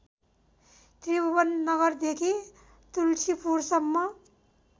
त्रिभुवन नगरदेखि तुल्सीपुरसम्म